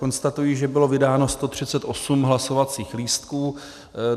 Konstatuji, že bylo vydáno 138 hlasovacích lístků.